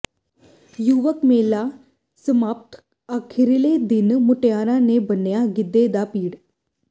ਯੁਵਕ ਮੇਲਾ ਸਮਾਪਤ ਅਖੀਰਲੇ ਦਿਨ ਮੁਟਿਆਰਾਂ ਨੇ ਬੰਨਿਆਂ ਗਿੱਧੇ ਦਾ ਪਿੜ